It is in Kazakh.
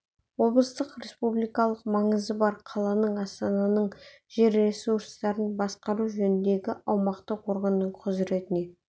облыстың республикалық маңызы бар қаланың астананың жер ресурстарын басқару жөніндегі аумақтық органының құзыретіне